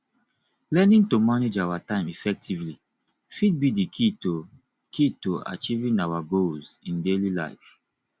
learning to manage our time effectively fit be di key to key to achieving our goals in daily life